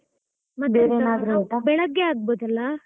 ಬೆಳಗ್ಗೆ ಆಗ್ಬಹುದಲ್ಲ?